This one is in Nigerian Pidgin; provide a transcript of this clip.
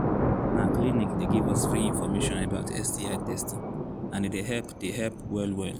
na clinic they give us free information about sti testing and he they help they help well well